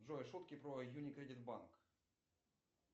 джой шутки про юни кредит банк